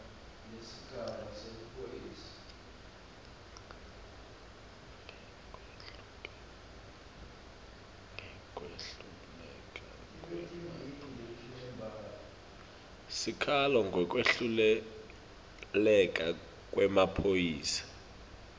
sikhalo ngekwehluleka kwemaphoyisa